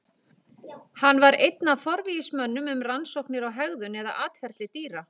Hann var einn af forvígismönnum um rannsóknir á hegðun eða atferli dýra.